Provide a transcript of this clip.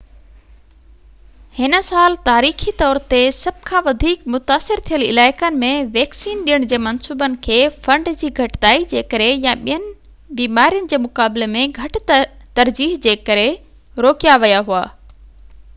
هن سال تاريخي طور تي سڀ کان وڌيڪ متاثر ٿيل علائقن ۾ ويڪسين ڏيڻ جي منصوبن کي فنڊ جي گهٽتائي جي ڪري يا ٻين بيمارين جي مقابلي ۾ گهٽ ترجيح جي ڪري روڪيا ويا هئا